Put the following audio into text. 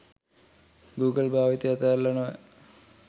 Google භාවිතය අතෑරල නොවැ